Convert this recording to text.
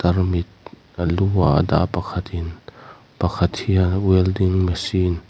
a lu a dah a pakhat in pakhat hian welding machine --